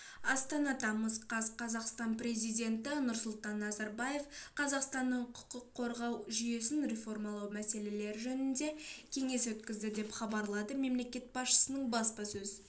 астана тамыз қаз қазақстан президенті нұрсұлтан назарбаев қазақстанның құқық қорғау жүйесін реформалау мәселелері жөнінде кеңес өткізді деп хабарлады мемлекет басшысының баспасөз